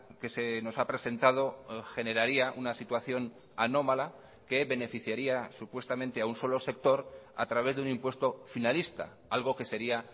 que se nos ha presentado generaría una situación anómala que beneficiaría supuestamente a un solo sector a través de un impuesto finalista algo que sería